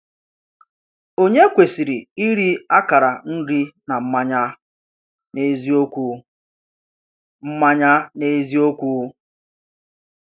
Ònye kwesịrị iri akara nri na mmanya n’eziokwu? mmanya n’eziokwu?